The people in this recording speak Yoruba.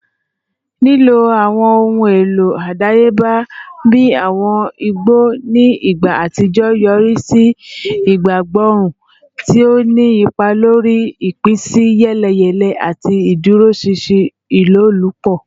Lilo awọn ohun elo adayeba bi awọn igbo ni igba atijọ yori si ipagborun, ti o ni ipa lori ipinsiyeleyele ati iduroṣinṣin ilolupo.